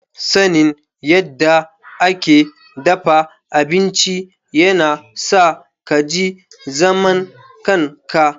Sanin yadda ake dafa abinci yana sa ka ji zaman kanka.